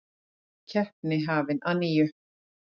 Keppni hafin að nýju